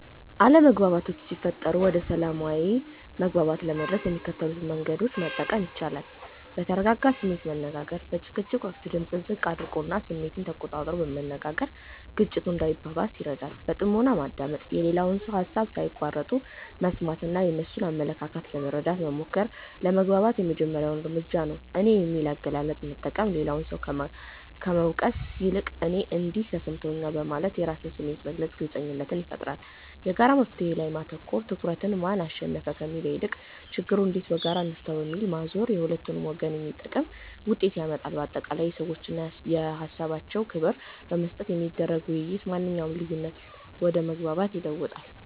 አለመግባባቶች ሲፈጠሩ ወደ ሰላማዊ መግባባት ለመድረስ የሚከተሉትን መንገዶች መጠቀም ይቻላል፦ በተረጋጋ ስሜት መነጋገር፦ በጭቅጭቅ ወቅት ድምጽን ዝቅ አድርጎና ስሜትን ተቆጣጥሮ መነጋገር ግጭቱ እንዳይባባስ ይረዳል። በጥሞና ማዳመጥ፦ የሌላውን ሰው ሃሳብ ሳይቋርጡ መስማትና የእነሱን አመለካከት ለመረዳት መሞከር ለመግባባት የመጀመሪያው እርምጃ ነው። "እኔ" የሚል አገላለጽን መጠቀም፦ ሌላውን ሰው ከመውቀስ ይልቅ "እኔ እንዲህ ተሰምቶኛል" በማለት የራስን ስሜት መግለጽ ግልጽነትን ይፈጥራል። የጋራ መፍትሔ ላይ ማተኮር፦ ትኩረትን "ማን አሸነፈ?" ከሚለው ይልቅ "ችግሩን እንዴት በጋራ እንፍታው?" ወደሚለው ማዞር ለሁለቱም ወገን የሚጠቅም ውጤት ያመጣል። ባጠቃላይ፣ ለሰዎችና ለሃሳባቸው ክብር በመስጠት የሚደረግ ውይይት ማንኛውንም ልዩነት ወደ መግባባት ይለውጠዋል።